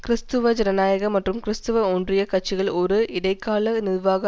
கிறிஸ்துவ ஜனநாயக மற்றும் கிறிஸ்துவ ஒன்றிய கட்சிகள் ஒரு இடைக்கால நிர்வாக